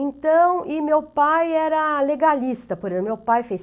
Então, e meu pai era legalista, por exemplo, meu pai fez